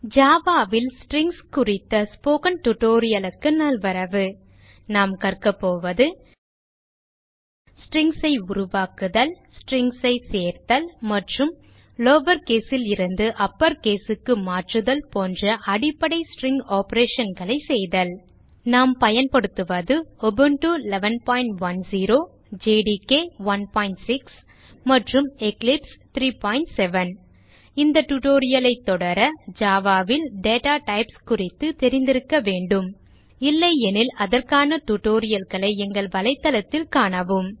Java ல் strings குறித்த spoken tutorial நல்வரவு நாம் கற்கப்போவது strings ஐ உருவாக்குதல் strings ஐ சேர்த்தல் மற்றும் லவர் case லிருந்து அப்பர் caseக்கு மாற்றுதல் போன்ற அடிப்படை ஸ்ட்ரிங் operationகளை செய்தல் நாம் பயன்படுத்துவது உபுண்டு 1110 ஜேடிகே 16 மற்றும் எக்லிப்ஸ் 370 இந்த tutorial ஐ தொடர Java ல் டேட்டா டைப்ஸ் குறித்து தெரிந்திருக்க வேண்டும் இல்லையெனில் அதற்கான tutorial களை எங்கள் வலைதளத்தில் காணவும்